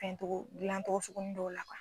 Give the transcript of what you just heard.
Fɛn tɔgɔ dilan cogo sugunin dɔw la kuwa.